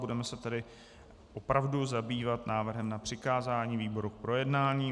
Budeme se tedy opravdu zabývat návrhem na přikázání výboru k projednání.